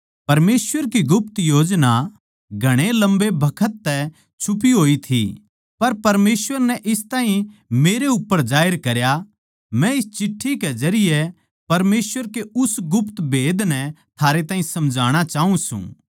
परमेसवर की गुप्त योजना घणे लम्बे बखत तै छुपी होई थी पर परमेसवर नै इस ताहीं मेरे उप्पर जाहिर करया मै इस चिट्ठी के जरिये परमेसवर के उस गुप्त भेद नै थारे ताहीं समझाणा चाऊँ सूं